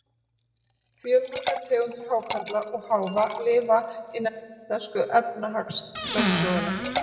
Fjölmargar tegundir hákarla og háfa lifa innan íslensku efnahagslögsögunnar.